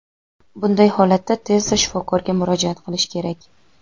Bunday holatda tezda shifokorga murojaat qilish kerak.